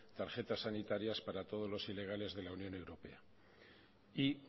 tarjetas sanitarias para todos los ilegales de la unión europea y